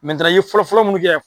i ye fɔlɔfɔlɔ mun kɛ